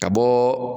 Ka bɔ